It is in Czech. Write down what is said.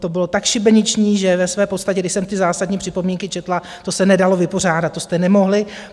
To bylo tak šibeniční, že ve své podstatě, když jsem ty zásadní připomínky četla, to se nedalo vypořádat, to jste nemohli.